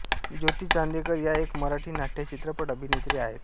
ज्योती चांदेकर या एक मराठी नाट्यचित्रपट अभिनेत्री आहेत